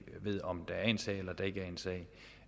ved om der er en sag eller der ikke